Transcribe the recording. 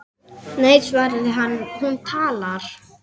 Nei svaraði hann, hún talar